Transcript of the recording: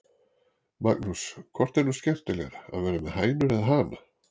Magnús: Hvort er nú skemmtilegra að vera með hænur eða hana?